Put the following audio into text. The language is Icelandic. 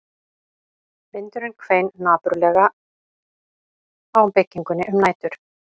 Vindurinn hvein napurlega á byggingunni um nætur